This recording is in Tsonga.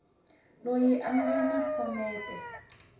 loyi a nga na phomete